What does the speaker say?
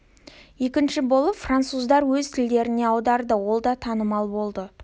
екінші болып француздар өз тілдеріне аударады ол да танымал болды